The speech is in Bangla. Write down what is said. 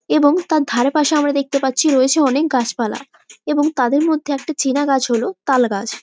এবং তার ধারেপাশে আমরা দেখতে পাচ্ছি অনেক রয়েছে গাছপালা। এবং তাদের মধ্যে একটা চেনা গাছ হল তাল গাছ।